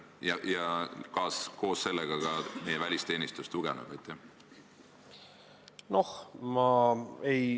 Ja kas koos sellega ka meie välisteenistus tugevneb?